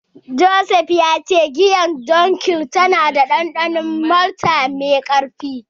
Joseph ya ce giyar Dunkel tana da dandanon malta mai karfi.